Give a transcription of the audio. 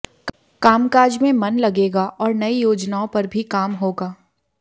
कामकाज में मन लगेगा और नई योजनाओं पर भी काम होगा